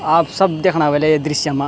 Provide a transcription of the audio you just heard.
आप सब देखणा हुएला ये दृश्य मा।